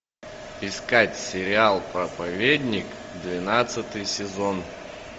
искать сериал проповедник двенадцатый сезон